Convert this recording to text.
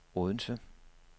Odense